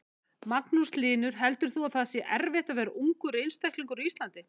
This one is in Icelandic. Magnús Hlynur: Heldur þú að það sé erfitt að vera ungur einstaklingur á Íslandi?